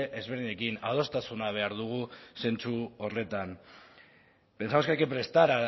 ezberdinekin adostasuna behar dugu zentzu horretan pensamos que hay que prestar